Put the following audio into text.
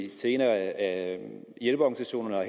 til en af de hjælpeorganisationerne og